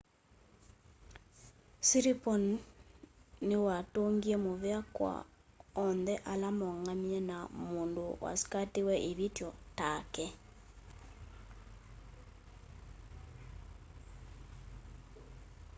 siriporn niwatungie muvea kwa onthe ala moongamie na mũndũ wasikatiwe ivithyo take